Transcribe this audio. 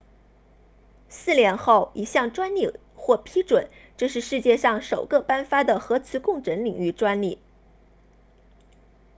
四年后一项专利获批准这是世界上首个颁发的核磁共振领域专利